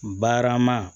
Barama